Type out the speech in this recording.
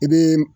I bɛ